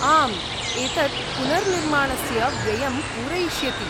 आम्, एतत् पुनर्निर्माणस्य व्ययं पूरयिष्यति।